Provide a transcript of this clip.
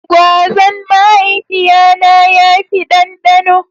Gwazan mahaifiya na ya fi dandano.